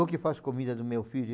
Eu que faço comida do meu filho.